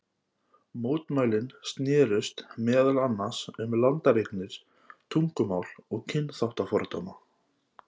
Mótmælin snerust meðal annars um landareignir, tungumál og kynþáttafordóma.